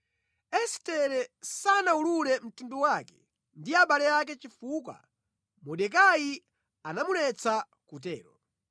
Estere sanawulule mtundu wake ndi abale ake chifukwa Mordekai anamuletsa kutero.